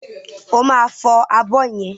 Ó máa fọ abọ́ yẹn.